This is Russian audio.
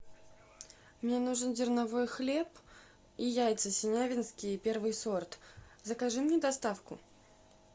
мне нужен зерновой хлеб и яйца синявинские первый сорт закажи мне доставку